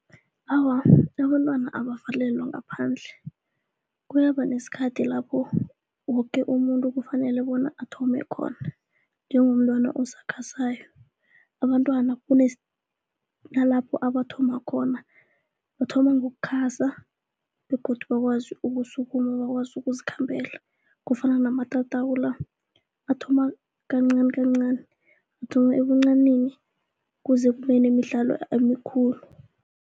Awa, abantwana abavalelwa ngaphandle kuyaba nesikhathi lapho woke umuntu kufanele bona athome khona njengomntwana osakhasako. Abantwana kunalapho abathoma khona bathoma ngokukhasa begodu bakwazi ukusukuma, bakwazi ukuzikhambela, kufana namatatawu la athoma kancanikancani, athoma ebuncanini kuze kube nemidlalo emikhulu.